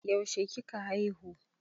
Yaushe kika haihu?